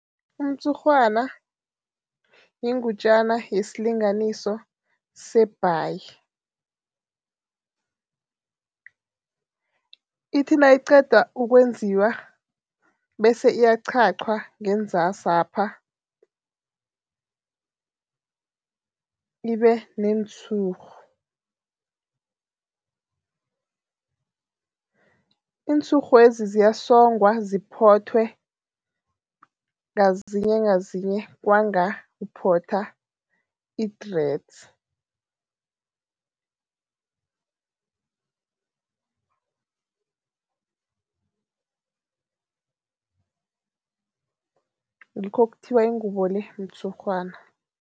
Umtshurhwana yingutjana yesilinganiso sebhayi. Ithi nayiqeda ukwenziwa bese iyaqhaqwa ngenzasapha ibe neentshurhu. Iintshurhwezi ziyasongwa, ziphothwe ngazinye ngazinye kwanga uphotha i-dreads ngikho kuthiwa ingubo le mtshurhwana.